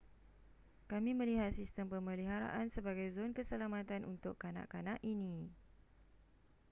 kami melihat sistem pemeliharaan sebagai zon keselamatan untuk kanak-kanak ini